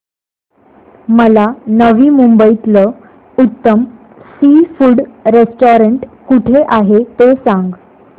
मला नवी मुंबईतलं उत्तम सी फूड रेस्टोरंट कुठे आहे ते सांग